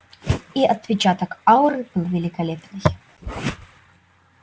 и отпечаток ауры был великолепный